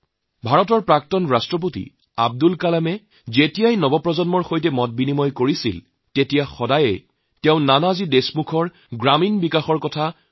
ভাৰতৰ প্ৰাক্তন ৰাষ্ট্ৰপতি শ্ৰীযুত আব্দুল কালাম ডাঙৰীয়াই যেতিয়া তৰুণসকলৰ সৈতে বাৰ্তালাপ কৰিছিল তেতিয়া তেওঁ প্ৰায়েই নানাজী দেশমুখৰ গ্ৰামীণ বিকাশৰ কথা আলোচনা কৰিছিল